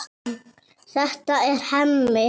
Þetta er Hemmi.